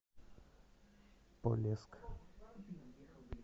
полесск